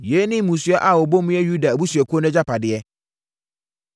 Yei ne mmusua a wɔbɔ mu yɛ Yuda abusuakuo no agyapadeɛ.